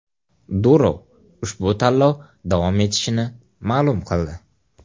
Durov ushbu tanlov davom etishini ma’lum qildi.